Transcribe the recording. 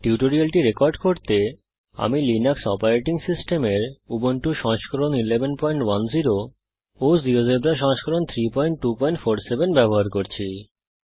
এই টিউটোরিয়ালটি রেকর্ড করার জন্যে আমি লিনাক্স অপারেটিং সিস্টেমের উবুন্টু সংস্করণ 1110 জীয়োজেব্রা সংস্করণ 32470 ব্যবহার করছি